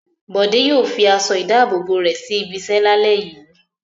Bọ̀dé yòò fi aṣọ-ìdáàbòbò rẹ̀ sí ibiṣẹ́ lálẹ́ yìí.